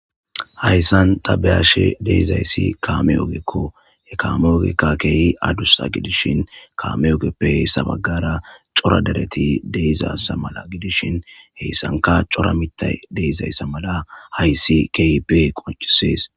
Hayssan tabeyashe deezayssi kaame ogekko he kaame ogekka keehi adussa gidishin kaame ogeppe sabagara cora dereti deizaza mala gidishin heyssanka cora mita deezayssa mala hayssi keeipe qoncisees.